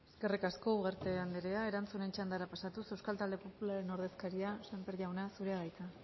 alde bozkatuko dugu eskerrik asko ugarte andrea erantzunen txandara pasatuz euskal talde popularraren ordezkaria sémper jauna zurea da hitza